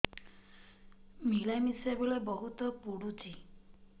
ମିଳାମିଶା ବେଳେ ବହୁତ ପୁଡୁଚି